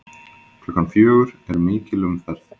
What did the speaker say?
Klukkan fjögur er mikil umferð.